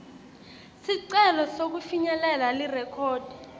sicelo sekufinyelela lirekhodi